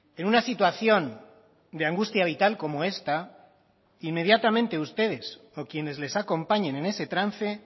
en una situación de angustia vital como esta inmediatamente ustedes o quienes les acompañen en ese trance